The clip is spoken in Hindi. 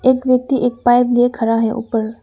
एक व्यक्ति एक पाइप लिए खड़ा है ऊपर।